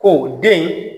Ko den